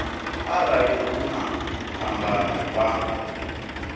arali hu na phambano vha